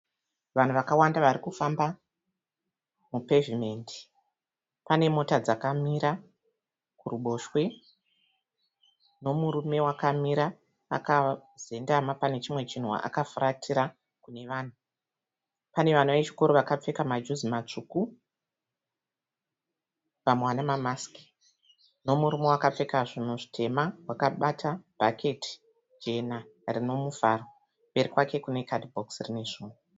Vanhu vakawanda varikufamba mu pavement. Pane mota dzakamira kuruboshwe. Nemurume wakamira akazendama pane chimwe chinhu akafuratira kune vanhu. Pane vana vechikoro vakapfeka majuzi matsvuku, vamwe vane ma masiki , nemurume wakapfeka zvinhu zvitema wakabata bhaketi jena rine muvharo. Mberi kwake kune kadhibhokisi rine zvinhu.